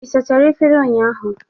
Ị sachara efere ụnyahụ?